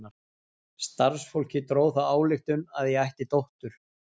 Starfsfólkið dró þá ályktun að ég ætti dóttur.